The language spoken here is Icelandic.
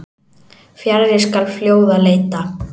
Fjarri skal fljóða leita.